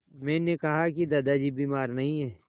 मैंने कहा कि दादाजी बीमार नहीं हैं